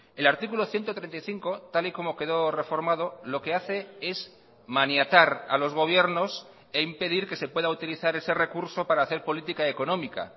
el artículo ciento treinta y cinco tal y como quedó reformado lo que hace es maniatar a los gobiernos e impedir que se pueda utilizar ese recurso para hacer política económica